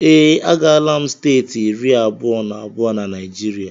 Ee, agaala m steeti iri abụọ na abụọ na Naijiria